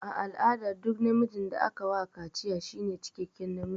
A al'ada duk namijin da aka wa kaciya shine cikekken namiji.